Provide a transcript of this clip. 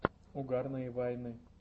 угарные вайны